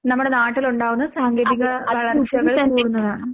നമ്മടെ നാട്ടിലൊണ്ടാകുന്ന സാങ്കേതിക ആഹ് വളര്‍ച്ചകള്‍ കൂടുന്നതാണ്.